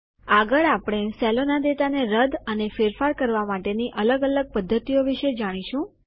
આગળ આપણે સેલોના ડેટા ને રદ અને ફેરફાર કરવા માટેની અલગ અલગ પદ્ધતિઓ વિશે જાણીશું